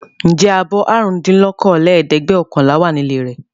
Ǹjẹ́ abọ́ àrùndínlókòólẹ́ẹ̀dẹ́gbẹ̀ọ̀kànlá wà nílé rẹ?